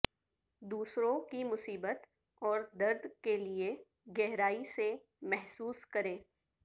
دوسروں کی مصیبت اور درد کے لئے گہرائی سے محسوس کریں